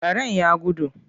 Karen ya gudu.